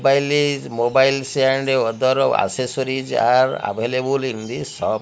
mobile is mobiles and other accessories are available in the shop.